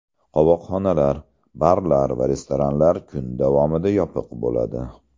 Qovoqxonalar, barlar va restoranlar kun davomida yopiq bo‘ladi.